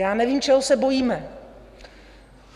Já nevím, čeho se bojíme.